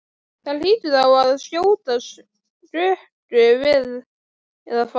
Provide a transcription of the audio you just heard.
Það hlýtur þá að skjóta skökku við eða hvað?